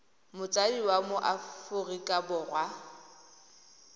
motsadi wa mo aforika borwa